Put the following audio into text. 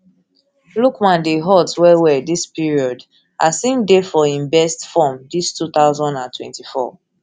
lookman dey hot wellwell dis period as im dey for im best form dis two thousand and twenty-four